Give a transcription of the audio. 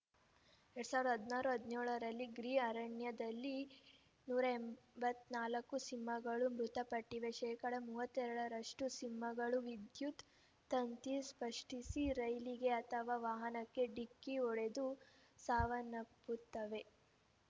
ಎರಡ್ ಸಾವಿರದ ಹದಿನಾರು ಹದಿನೇಳರಲ್ಲಿ ಗಿರ್‌ ಅರಣ್ಯದಲ್ಲಿ ನೂರ ಎಂಬತ್ತ್ ನಾಲ್ಕು ಸಿಂಹಗಳು ಮೃತಪಟ್ಟಿವೆ ಶೇಕಡಾ ಮೂವತ್ತೆರಡರಷ್ಟುಸಿಂಹಗಳು ವಿದ್ಯುತ್‌ ತಂತಿ ಸ್ಪಷ್ಟಿಸಿ ರೈಲಿಗೆ ಅಥವಾ ವಾಹನಕ್ಕೆ ಡಿಕ್ಕಿ ಹೊಡೆದು ಸಾವನ್ನಪ್ಪುತ್ತವೆ